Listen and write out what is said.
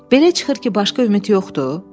Belə çıxır ki, başqa ümid yoxdur?